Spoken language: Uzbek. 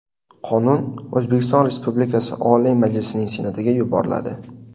Qonun O‘zbekiston Respublikasi Oliy Majlisining Senatiga yuboriladi.